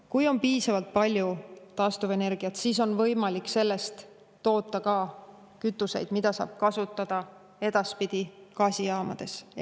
Kui on piisavalt palju taastuvenergiat, siis on võimalik sellest toota ka kütuseid, mida saab kasutada edaspidi gaasijaamades.